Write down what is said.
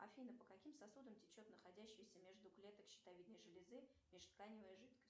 афина по каким сосудам течет находящаяся между клеток щитовидной железы межтканевая жидкость